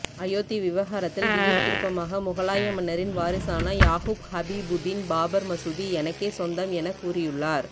அயோத்தி விவகாரத்தில் திடீர் திருப்பமாக முகலாய மன்னரின் வாரிசான யாகூப் ஹபிபுதீன் பாபர் மசூதி எனக்கே சொந்தம் என கூறியுள்ளார்